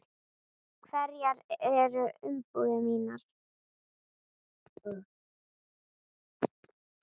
Hverjar eru umbúðir mínar?